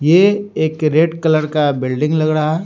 ये एक red colour का बिल्डिंग लग रहा है।